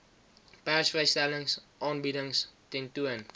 persvrystellings aanbiedings tentoon